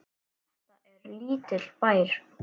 Þetta er lítill bær.